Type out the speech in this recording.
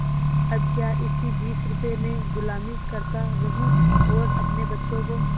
अब क्या इसी बीस रुपये में गुलामी करता रहूँ और अपने बच्चों को